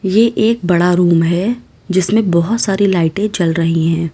ये एक बड़ा रूम है जिसमें बहोत सारी लाइटें जल रही है।